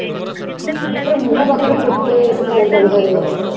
ପୁରା ମୁହଁ ପାଖରେ ପୋତିହେଇକି ସେ phone ଟାକୁ ଧରିକି ବସିଥିବ